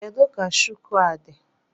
Kedu ka shuku a dị?